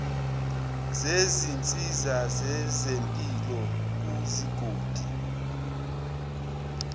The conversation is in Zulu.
zezinsiza zezempilo kuzigodi